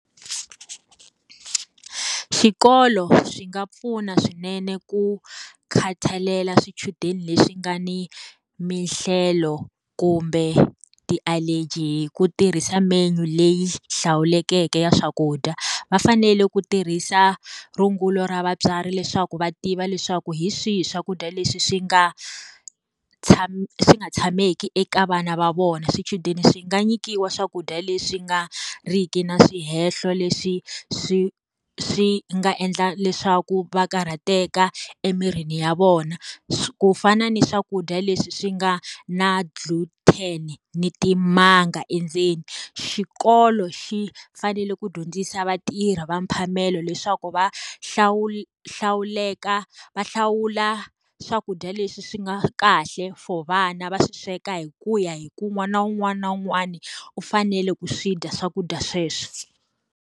Swikolo swi nga pfuna swinene ku khathalela swichudeni leswi nga ni minhlelo kumbe ti-allergy hi ku tirhisa menu leyi hlawuleke ya swakudya. Va fanele ku tirhisa rungula ra vatswari leswaku va tiva leswaku hi swihi swakudya leswi swi nga swi nga tshameki eka vana va vona. Swichudeni swi nga nyikiwa swakudya leswi nga ri ki na swihehlo leswi swi swi nga endla leswaku va karhateka emirini ya vona. Ku fana ni swakudya leswi swi nga na ni timanga endzeni. Xikolo xi fanele ku dyondzisa vatirhi va mphamelo leswaku va hlawuleka va hlawula swakudya leswi swi nga kahle for vana va swi sweka hi ku ya hi ku un'wana na un'wana na un'wana u fanele ku swi dya swakudya sweswo.